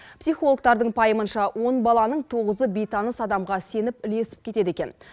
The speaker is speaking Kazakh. психологтардың пайымынша он баланың тоғызы бейтаныс адамға сеніп ілесіп кетеді екен